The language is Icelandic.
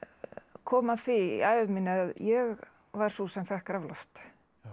kom að því í ævi minni að ég var sú sem fékk raflost